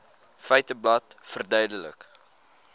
feiteblad verduidelik